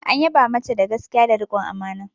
An yaba mata da gaskiya da rikon amana.